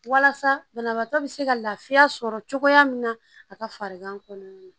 Walasa banabaatɔ bɛ se ka lafiya sɔrɔ cogoya min na a ka farigan kɔnɔna na